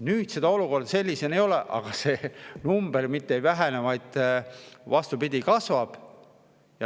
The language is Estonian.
Nüüd sellist olukorda ei ole, aga ikkagi see number mitte ei vähene, vaid, vastupidi, kasvab.